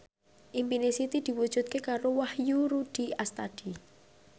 impine Siti diwujudke karo Wahyu Rudi Astadi